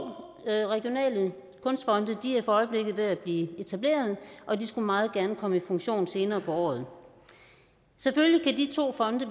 regionale kunstfonde er for øjeblikket ved at blive etableret og de skulle meget gerne komme i funktion senere på året selvfølgelig kan de to fonde